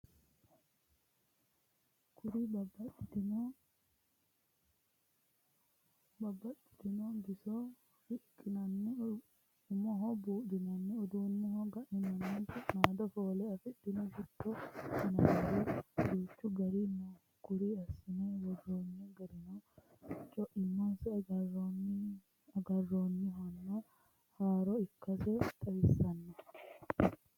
Kuri babbaxxitino bisoho riqinanni umoho buudhinanni uduuneho ga'ninaniti su'nado foole afidhinoti shitto yinannir duuchu gariri no kuri assine woronni garino coimansa agarinohonna haaro ikkansa xawisanoho.